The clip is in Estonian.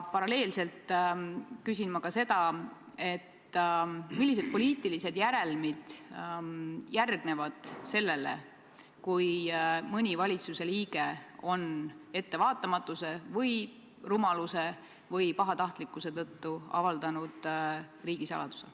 Paralleelselt küsin ma ka seda, millised poliitilised järelmid järgnevad sellele, kui mõni valitsuse liige on ettevaatamatuse, rumaluse või pahatahtlikkuse tõttu avaldanud riigisaladuse.